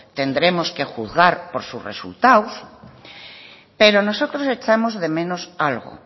tendremos que juzgar por sus resultados pero nosotros echamos de menos algo